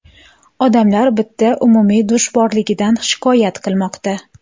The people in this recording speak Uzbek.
Odamlar bitta umumiy dush borligidan shikoyat qilmoqda.